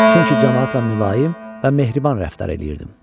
Çünki camaatla mülayim və mehriban rəftar eləyirdim.